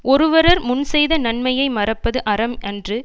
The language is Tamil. ஒருவரர் முன் செய்த நன்மையை மறப்பது அறம் அன்று